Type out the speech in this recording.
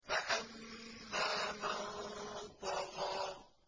فَأَمَّا مَن طَغَىٰ